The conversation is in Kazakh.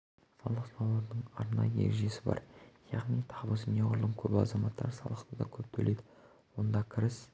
салық салудың арнайы ережесі бар яғни табысы неғұрлым көп азаматтар салықты да көп төлейді онда кіріс